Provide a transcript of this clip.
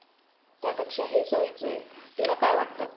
त्यापेक्षा हे सोयीचं आहे तुला काय वाटतं?